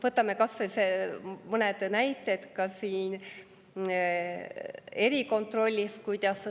Võtame kas või mõned näited erikontrollist.